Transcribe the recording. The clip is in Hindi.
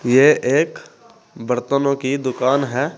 ये एक बर्तनों की दुकान है।